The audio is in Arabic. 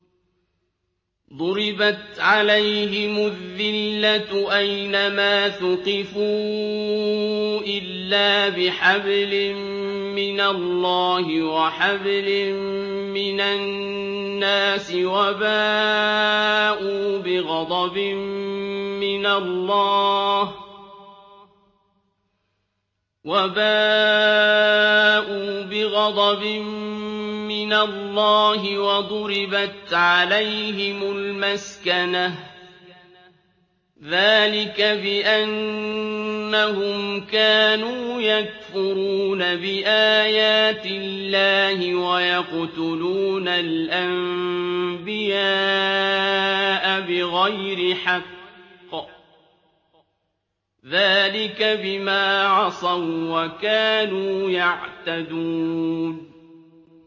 ضُرِبَتْ عَلَيْهِمُ الذِّلَّةُ أَيْنَ مَا ثُقِفُوا إِلَّا بِحَبْلٍ مِّنَ اللَّهِ وَحَبْلٍ مِّنَ النَّاسِ وَبَاءُوا بِغَضَبٍ مِّنَ اللَّهِ وَضُرِبَتْ عَلَيْهِمُ الْمَسْكَنَةُ ۚ ذَٰلِكَ بِأَنَّهُمْ كَانُوا يَكْفُرُونَ بِآيَاتِ اللَّهِ وَيَقْتُلُونَ الْأَنبِيَاءَ بِغَيْرِ حَقٍّ ۚ ذَٰلِكَ بِمَا عَصَوا وَّكَانُوا يَعْتَدُونَ